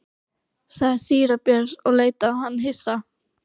sagði síra Björn og leit á hann hissa.